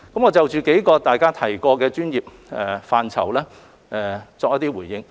我就大家提及的數個專業範疇作回應。